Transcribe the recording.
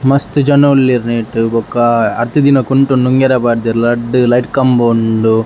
ಮಸ್ತ್ ಜನ ಉಲ್ಲೆರ್ ನೆಟ್ಟ್ ಬೊಕ್ಕ ಅರ್ದಿದಿನ ಕುಂಟುನ್ ನುಂಗರೆ ಪಾಡ್ದೆರ್ ರಡ್ಡ್ ಲೈಟ್ ಕಂಬ ಉಂಡು.